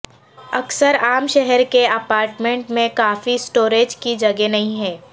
اکثر عام شہر کے اپارٹمنٹ میں کافی سٹوریج کی جگہ نہیں ہے